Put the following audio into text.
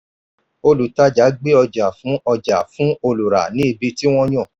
olùtàjà gbé ọjà fún ọjà fún olùrà ní ibi tí wọ́n yàn.